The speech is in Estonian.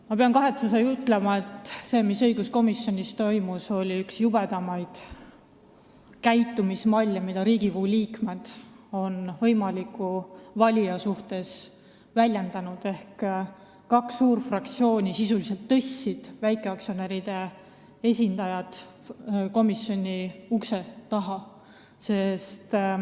Ma pean kahetsusega ütlema, et see, mis õiguskomisjonis toimus, oli üks jubedamaid käitumismalle, mida Riigikogu liikmed on võimaliku valija suhtes kasutanud: kaks suurt fraktsiooni tõstsid väikeaktsionäride esindajad sisuliselt komisjoni ukse taha.